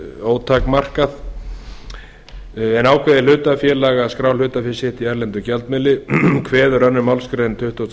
ótakmarkað ákveði hlutafélag að skrá hlutafé sitt í erlendum gjaldmiðli kveður önnur málsgrein tuttugustu og